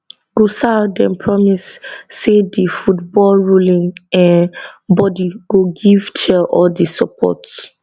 gusau den promise say di footballruling um bodi go give chelle all di support